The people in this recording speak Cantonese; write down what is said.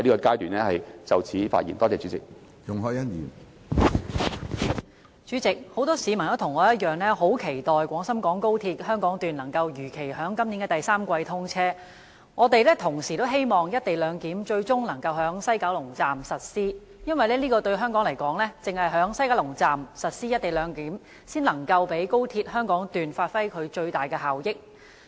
主席，我和很多市民一樣，很期待廣深港高速鐵路香港段能如期於今年第三季通車，並希望西九龍站最終能實施"一地兩檢"，因為對香港而言，只有在西九龍站實施"一地兩檢"，才能讓高鐵香港段發揮最大效益。